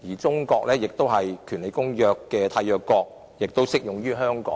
中國是《公約》的締約國，因此《公約》適用於香港。